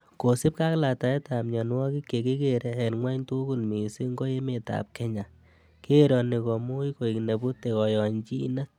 Kosiibge ak letaetab mionwogik chekikere en gwony tugul mising ko emetab Kenya, keeroni komuch koik nebute koyonyinet.